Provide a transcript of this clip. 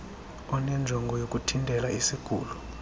onenjongo yokuthintela isigulo